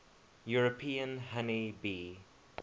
european honey bee